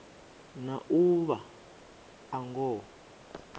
na u vha a ngoho